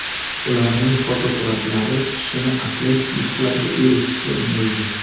Ularning fotosuratlari kishini atletik yutuqlarga erishishga undaydi.